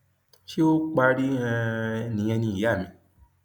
ṣé ó parí um nìyẹn ni ìyá mi